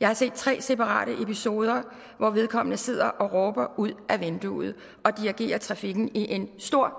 jeg har set tre separate episoder hvor vedkommende sidder og råber ud af vinduet og dirigerer trafikken i en stor